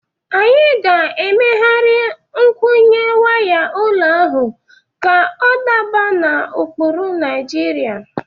Anyị ga-megharị nkwụnye waya ụlọ ahụ ka ọ daba n’ụkpụrụ Naijiria.